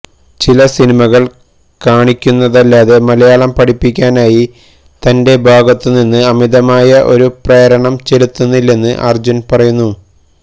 ചില സിനിമകള് കാണിക്കുന്നതല്ലാതെ മലയാളം പഠിപ്പിക്കാനായി തന്റെ ഭാഗത്തു നിന്ന് അമിതമായി ഒരു പ്രേരണം ചെലുത്തുന്നില്ലെന്ന് അര്ജുന് പറയുന്നു